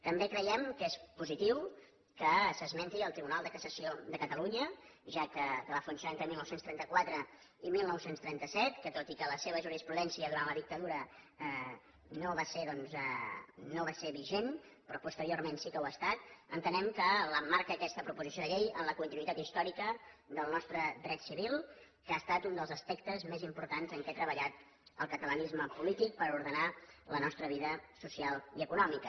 també creiem que és positiu que s’esmenti el tribunal de cassació de catalunya que va funcionar entre dinou trenta quatre i dinou trenta set que tot i que la seva jurisprudència durant la dictadura no va ser vigent però posteriorment sí que ho ha estat entenem que l’emmarca aquesta proposició de llei en la continuïtat històrica del nostre dret civil que ha estat un dels aspectes més importants en què ha treballat el catalanisme polític per ordenar la nostra vida social i econòmica